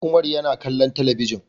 Umar yana kallon talabijin